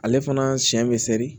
Ale fana siɲɛ be seri